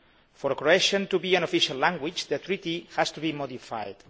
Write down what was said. For Croatian to be an official language, the Treaty has to be modified.